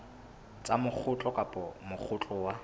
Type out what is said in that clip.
tsa mokgatlo kapa mokgatlo wa